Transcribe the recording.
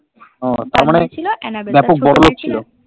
ওহ আচ্ছা তার মানে খুব বড়োলোক ছিল